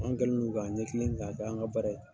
An kɛlen don k'an ɲɛ kilen k'a kɛ an ka baara ye.